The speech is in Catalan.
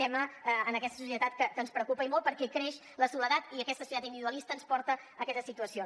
tema en aquesta societat que ens preocupa i molt perquè creix la soledat i aquesta societat individua lista ens porta a aquestes situacions